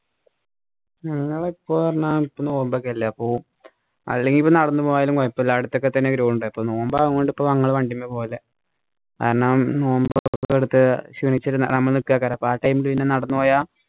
ഞങ്ങൾ ഇപ്പൊ പറഞ്ഞാ ഇപ്പൊ നോമ്പൊക്കെ അല്ലെ അപ്പൊ അല്ലെങ്കിൽ ഇപ്പൊ നടന്നു പോയാൽ കൊയപ്പുല അടുത്തൊക്കെ തന്നെ ground. അപ്പൊ നോമ്പായത് കൊണ്ട് ഇപ്പൊ ഞങ്ങള് വണ്ടിമാ പോവല് കാരണം നോമ്പൊക്കെ എടുത്ത് ക്ഷീണിചിരിരുന്ന് നമ്മ അപ്പൊ ആ time ല് പിന്നെ നടന്നു പോയാ